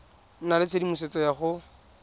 nna le tshedimosetso ya go